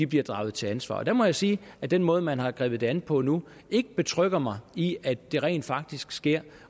bliver draget til ansvar der må jeg sige at den måde man har grebet det an på nu ikke betrygger mig i at det rent faktisk sker